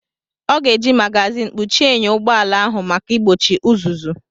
Ọ ga-eji mágázin kpuchie enyo ụgbọ ala ahụ maka igbochi uzuzu